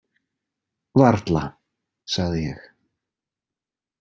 Varla, sagði ég.